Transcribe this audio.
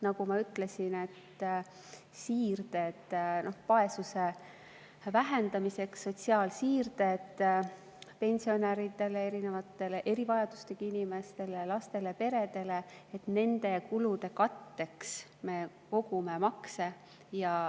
Nagu ma ütlesin, on siirded vaesuse vähendamiseks, sotsiaalsiirded pensionäridele, erinevate erivajadustega inimestele, lastele, peredele – nende kulude katteks me kogume makse.